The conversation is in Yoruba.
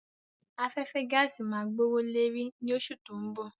Afẹ́fẹ́ gaàsì máa gbówó leri ni oṣù tó ń bọ̀